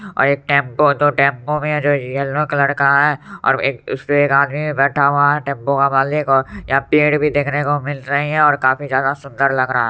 और एक टेंपो है टेंपो में जो येलो कलर का है और एक उसमें आदमी बैठा हुआ है टेम्पो का मालिक और पेड़ भी देखने को मिल रही हैं और काफी ज्यादा सुंदर लग रहा है।